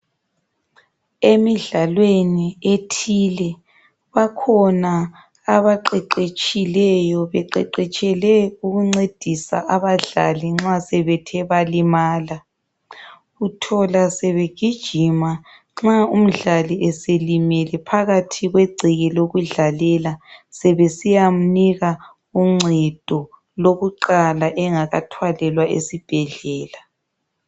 Emidlalweni ethile bakhona abaqeqetshileyo, beqeqetshele ukuncedisa abadlali masebethe balimala, uthola sebegijima nxa umndlali eselimele phakathi kwegceke lokudlalela sebesiyamnika uncedo lokuqala engakathwalelwa esibhedlela.